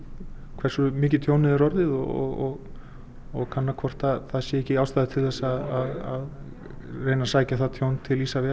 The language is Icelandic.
hversu mikið tjónið er orðið og og kanna hvort það sé ekki ástæða til þess að reyna að sækja það tjón til Isavia